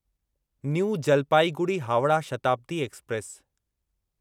new Jalpaiguri Howrah Shatabdi express